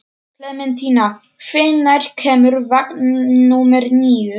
Klementína, hvenær kemur vagn númer níu?